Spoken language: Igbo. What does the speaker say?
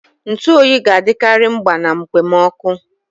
Ntu oyi ga-adịkarị mgba na mkpomoku.